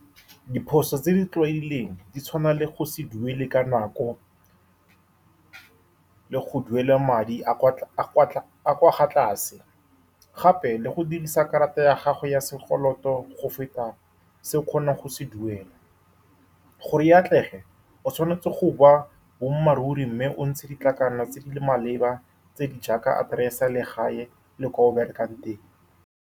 Diphoso tse di tlwaelegileng di tshwana le go se duele ka nako, le go duela madi a a kwa , a a kwa , a a kwa ga tlase. Gape le go dirisa karata ya gago ya sekoloto go feta se o kgonang go se duela, gore e atlege, o tshwanetse go bua boammaaruri mme o ntshe tse di maleba, tse di jaaka address-e, legae le ko o berekang teng.